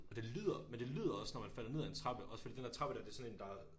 Og det lyder men det lyder også når man falder ned af en trappe også fordi den der trappe dér det sådan en der